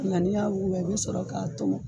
Nga n'i y'a wuguba i bɛ sɔrɔ k'a tɔmɔ